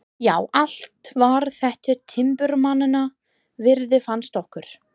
Já, allt var þetta timburmannanna virði, fannst okkur.